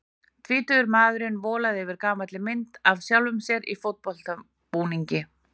Tvítugur maðurinn volandi yfir gamalli mynd af sjálfum sér í fótboltabúningi.